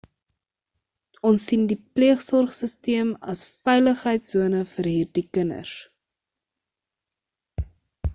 ons sien die pleegsorgsisteem as 'n veiligheids-sone vir hierdie kinders